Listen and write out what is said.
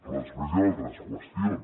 però després hi han altres qüestions